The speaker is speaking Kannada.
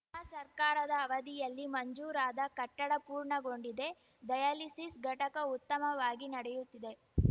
ನಮ್ಮ ಸರ್ಕಾರದ ಅವಧಿಯಲ್ಲಿ ಮಂಜೂರಾದ ಕಟ್ಟಡ ಪೂರ್ಣಗೊಂಡಿದೆ ಡಯಾಲಿಸಿಸ್‌ ಘಟಕ ಉತ್ತಮವಾಗಿ ನಡೆಯುತ್ತಿದೆ